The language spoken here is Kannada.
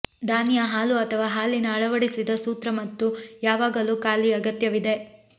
ದಾನಿಯ ಹಾಲು ಅಥವಾ ಹಾಲಿನ ಅಳವಡಿಸಿದ ಸೂತ್ರ ಮತ್ತು ಯಾವಾಗಲೂ ಖಾಲಿ ಅಗತ್ಯವಿದೆ